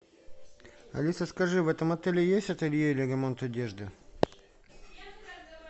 алиса скажи в этом отеле есть ателье или ремонт одежды